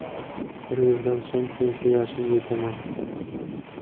Bir yildan so‘ng pensiya yoshiga yetaman.